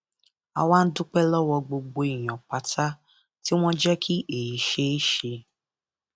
a wá ń dúpẹ lọwọ gbogbo èèyàn pátá tí wọn jẹ kí èyí ṣeé ṣe